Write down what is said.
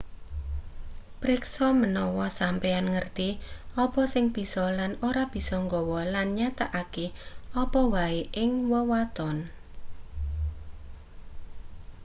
priksa manawa sampeyan ngerti apa sing bisa lan ora bisa nggawa lan nyatakake apa wae ing wewaton